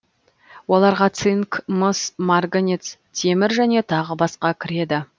оларға цинк мыс марганец темір және тағы басқа кіреді